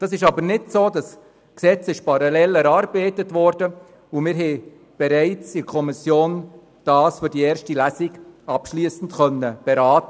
Dem ist aber nicht so – ein entsprechendes Gesetz wurde parallel erarbeitet, wir konnten es in der Kommission bereits abschliessend für die erste Lesung beraten.